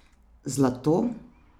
Zlato!